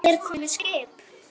Er komið skip?